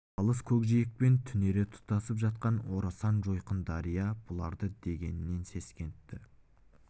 алыс көкжиекпен түнере тұтасып жатқан орасан жойқын дария бұларды дегеннен сескентті